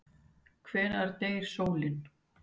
Hvenær deyr sólin?